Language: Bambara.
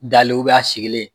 Dali a sigilen.